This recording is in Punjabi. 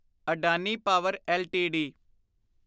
Adani power LTD